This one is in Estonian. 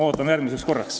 Ootame järgmist korda.